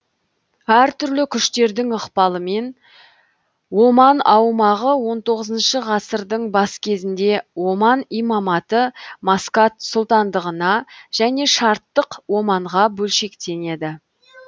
әр түрлі күштердің ықпалымен оман аумағы он тоғызыншы ғасырдың бас кезінде оман имаматы маскат сұлтандығына және шарттық оманға бөлшектенеді